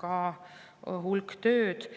hulk tööd.